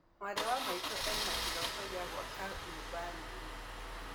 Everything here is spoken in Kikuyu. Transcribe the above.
Mwarĩ wa maitũ ĩna kĩroto gĩa gũaka nyũmba nene